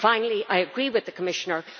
Finally, I agree with the Commissioner.